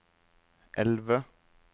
elve